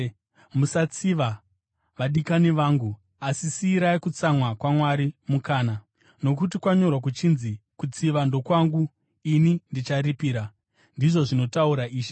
Musatsiva, vadikani vangu, asi siyirai kutsamwa kwaMwari mukana, nokuti kwanyorwa kuchinzi, “Kutsiva ndokwangu; ini ndicharipira,” ndizvo zvinotaura Ishe.